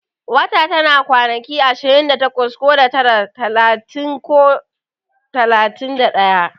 Wata tana kwanaki ashirin da takwas ko da tara, talatin ko talatin da daya